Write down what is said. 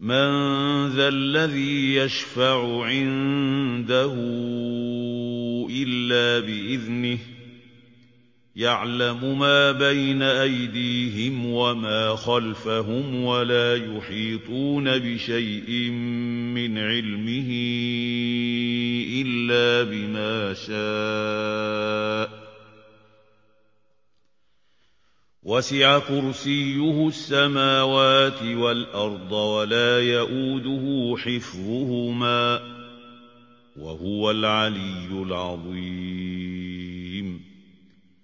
مَن ذَا الَّذِي يَشْفَعُ عِندَهُ إِلَّا بِإِذْنِهِ ۚ يَعْلَمُ مَا بَيْنَ أَيْدِيهِمْ وَمَا خَلْفَهُمْ ۖ وَلَا يُحِيطُونَ بِشَيْءٍ مِّنْ عِلْمِهِ إِلَّا بِمَا شَاءَ ۚ وَسِعَ كُرْسِيُّهُ السَّمَاوَاتِ وَالْأَرْضَ ۖ وَلَا يَئُودُهُ حِفْظُهُمَا ۚ وَهُوَ الْعَلِيُّ الْعَظِيمُ